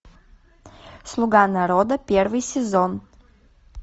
слуга народа первый сезон